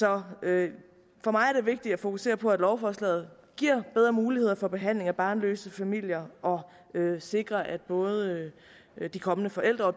er det vigtigt at fokusere på at lovforslaget giver bedre muligheder for behandling af barnløse familier og sikrer at både de kommende forældre